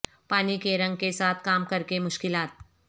پانی کے رنگ کے ساتھ کام کر کے مشکلات